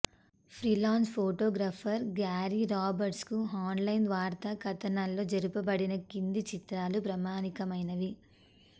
freelance photographer Gary రాబర్ట్స్కు online వార్తా కథనాల్లో జరపబడిన క్రింది చిత్రాలు ప్రామాణికమైనవి